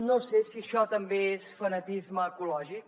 no sé si això també és fanatisme ecològic